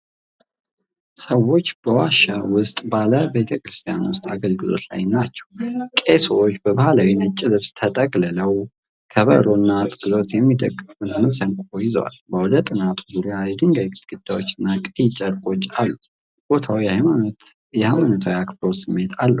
ሰዎች በዋሻ ውስጥ ባለ ቤተ ክርስቲያን ውስጥ አገልግሎት ላይ ናቸው። ቄሶች በባህላዊ ነጭ ልብስ ተጠቅልለዋል። ከበሮ እና ጸሎት የሚደገፍበት መሰንቆ ይዘዋል። በአውደ ጥናቱ ዙሪያ የድንጋይ ግድግዳዎች እና ቀይ ጨርቆች አሉ። ቦታው የሃይማኖታዊ አክብሮት ስሜት አለው።